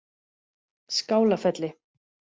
Skálafelli